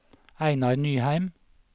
Einar Nyheim